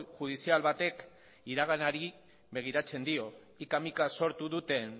judizial batek iraganari begiratzen dio hika mika sortu duten